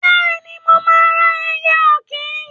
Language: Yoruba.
Bẹ́ẹ̀ni, mo máa ra ẹyẹ ọ̀kín